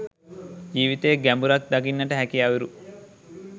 ජීවිතයේ ගැඹුරක් දකින්නට හැකි අයුරු.